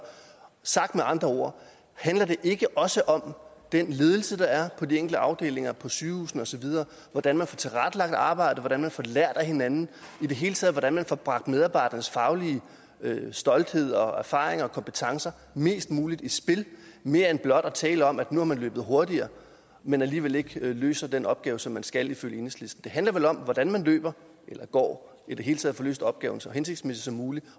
sagt med andre ord handler det ikke også om den ledelse der er på de enkelte afdelinger på sygehusene og så videre hvordan man får tilrettelagt arbejdet hvordan man får lært af hinanden i det hele taget hvordan man får bragt medarbejdernes faglige stolthed og erfaringer og kompetencer mest muligt i spil mere end blot at tale om at nu har man løbet hurtigere men alligevel ikke løser den opgave som man skal ifølge enhedslisten det handler vel om hvordan man løber eller går og i det hele taget får løst opgaven så hensigtsmæssigt som muligt